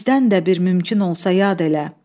bizdən də bir mümkün olsa yad elə.